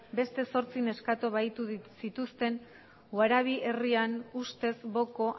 beste zortzi neskato bahitu zituzten herrian ustez boko